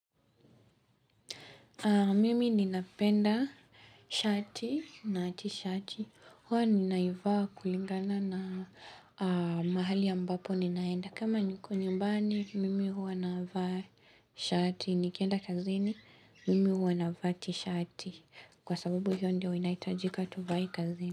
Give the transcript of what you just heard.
Mimi ninapenda shati na tishati. Huwa ninaivaa kulingana na mahali ambapo ninaenda. Kama niko nyumbani, mimi huwa navaa shati. Nikienda kazini, mimi huwa navaa tishati. Kwa sababu hiyo ndio inahitajika tuvae kazini.